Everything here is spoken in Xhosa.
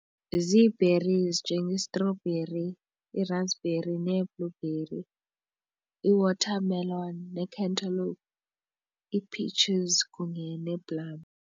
Zii-berries nje ngeestrobheri iirasbheri nee-blueberry i-watermelon nee-cantelope ii-peaches kunye nee-plum.